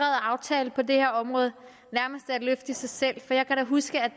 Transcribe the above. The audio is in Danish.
aftale på det her område nærmest er et løft i sig selv for jeg kan da huske at